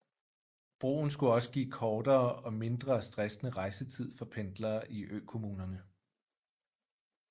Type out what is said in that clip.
Broen skulle også give kortere og mindre stressende rejsetid for pendlere i økommunerne